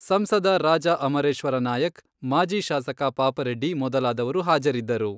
ಸಂಸದ ರಾಜಾ ಅಮರೇಶ್ವರ ನಾಯಕ್, ಮಾಜಿ ಶಾಸಕ ಪಾಪರೆಡ್ಡಿ ಮೊದಲಾದವರು ಹಾಜರಿದ್ದರು.